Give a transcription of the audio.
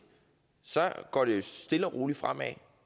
går det stille og roligt fremad